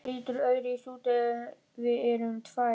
Það lítur öðruvísi út ef við erum tvær.